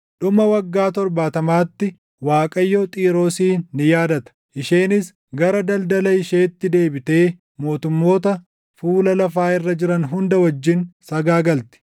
Dhuma waggaa torbaatamaatti Waaqayyo Xiiroosin ni yaadata; isheenis gara daldala isheetti deebitee mootummoota fuula lafaa irra jiran hunda wajjin sagaagalti.